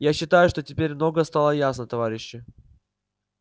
я считаю что теперь многое стало ясно товарищи